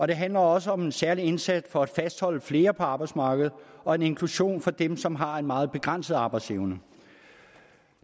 det handler også om en særlig indsats for at fastholde flere på arbejdsmarkedet og inklusion af dem som har en meget begrænset arbejdsevne